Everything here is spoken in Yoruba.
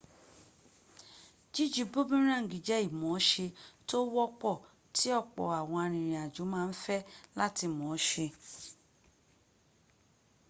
jíju bumuráǹgì jẹ́ ìmọ̀ọ́se tó wọ́pọ̀ tí ọ̀pọ̀ àwọn arìnrìnàjò ma ń fẹ́ láti mọ̀ọ́ se